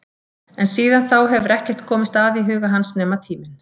En síðan þá hefur ekkert komist að í huga hans nema tíminn.